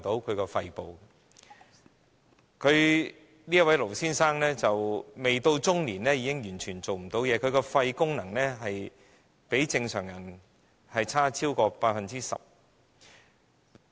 這位盧先生未屆中年已完全喪失工作能力，其肺功能比正常人差超過 10%。